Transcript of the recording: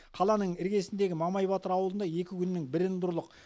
қаланың іргесіндегі мамай батыр ауылында екі күннің бірінде ұрлық